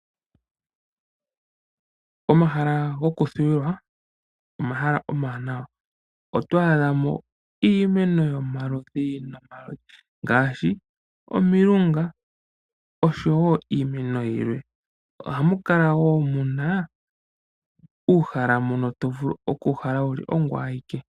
Omahala gokuthuwila, omahala omawanawa. Oto adha no iimeno yomaludhi nomaludhi ngaashi omilunga, nosho wo iimeno yimwe. Ohamu kala wo mu na uuhala mbono to vulu oku uhala wu li ongoye awike.